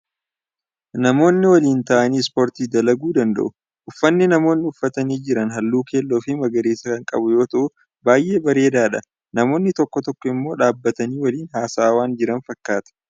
Namoonni waliin ta'anii ispoortii dalaguu danda'u. Uffanni namoonni uffatanii jiran halluu keelloo fi magariisa kan qabu yommuu ta'u baay'ee bareedadha. Namoonni tokko tokko immoo dhaabbatanii waliin haasa'aa waan jiran fakkaata.